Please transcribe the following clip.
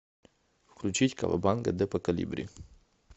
включить кавабанга депо колибри